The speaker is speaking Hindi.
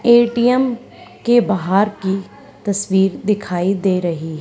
ए_टी_एम के बहार की तस्वीर दिखाई दे रही--